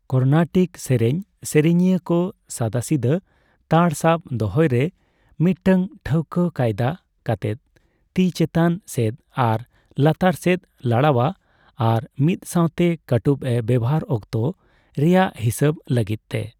ᱠᱚᱨᱱᱟᱴᱤᱠ ᱥᱮᱹᱨᱮᱧ ᱥᱮᱨᱮᱹᱧᱤᱭᱟᱹ ᱠᱚ ᱥᱟᱫᱟᱥᱤᱫᱟᱹ ᱛ ᱛᱟᱲ ᱥᱟᱵ ᱫᱚᱦᱚᱭᱨᱮ ᱢᱤᱫᱴᱟᱝ ᱴᱷᱟᱹᱠᱣᱟᱹ ᱠᱟᱭᱫᱟ ᱠᱟᱛᱮᱜ ᱛᱤ ᱪᱮᱛᱟᱱ ᱥᱮᱫ ᱟᱨ ᱞᱟᱛᱟᱨ ᱥᱮᱫᱮ ᱞᱟᱲᱟᱣᱟ ᱟᱨ ᱢᱤᱫ ᱥᱟᱣᱛᱮ ᱠᱟᱹᱴᱩᱵ ᱮ ᱵᱮᱵᱦᱟᱨ ᱚᱠᱛᱚ ᱨᱮᱭᱟᱜ ᱦᱤᱥᱟᱹᱵᱽ ᱞᱟᱹᱜᱤᱫᱛᱮ ᱾